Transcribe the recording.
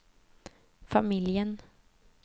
familjen